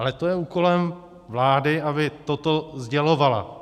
Ale to je úkolem vlády, aby toto sdělovala.